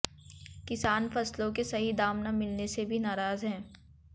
किसान फसलों के सही दाम न मिलने से भी नाराज है